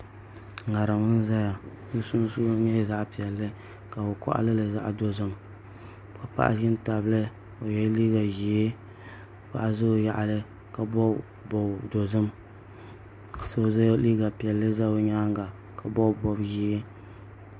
ŋarim n ʒɛya di sunsuuni nyɛ zaɣ piɛlli ka bi koɣalili zaɣ dozim ka paɣa ʒi n tabili o yɛla liiga ʒiɛ paɣa ʒɛ o yaɣali ka bob bob dozim ka so yɛ liiga piɛlli ʒɛ o nyaanga ka bob bob ʒiɛ